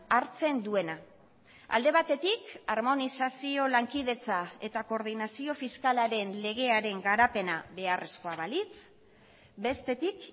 hartzen duena alde batetik harmonizazio lankidetza eta koordinazio fiskalaren legearen garapena beharrezkoa balitz bestetik